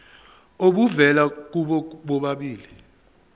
obuvela kubo bobabili